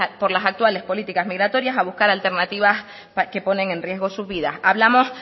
por las actuales políticas migratorias a buscar alternativas que ponen en riesgo sus vidas hablamos